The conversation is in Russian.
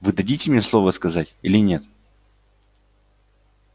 вы дадите мне слово сказать или нет